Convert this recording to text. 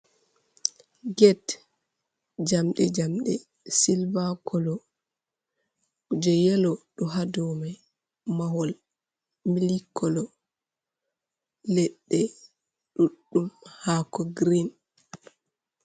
Get jamɗe jamɗe silva kolo, kuje yelo ɗo haa dow may, mahol mili kolo, leɗɗe ɗuɗɗum, haako girin.